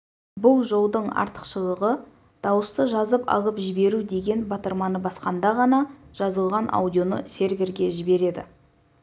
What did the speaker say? бұл жолдың артықшылығы дауысты жазып алып жіберу деген батырманы басқанда ғана жазылған аудионы серверге жібереді